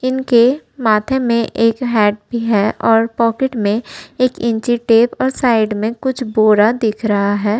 इनके माथे में एक हेड भी है और पॉकेट में एक इंची टेप और साइड में कुछ बोरा दिख रहा है।